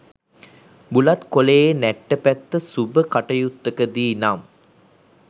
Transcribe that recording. බුලත් කොළයේ නැට්ට පැත්ත සුබ කටයුත්තකදී නම්